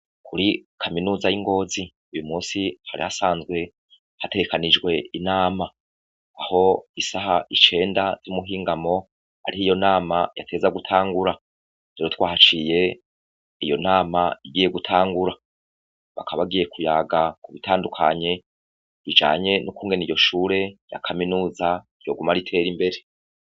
Kuri kaminuza y'ingozi uyumunsi hari hasanzwe hategekanijwe inama, Aho isaha icenda z'umuhingo ariho iyo nama yategerezwa gutangura, rero twahaciye iyo nama igiye gutangura, bakaba bagiye kuyaga kubitandukanye bijanye n'ukungene iryoshure ryakaminuza ryoguma ritera imbere.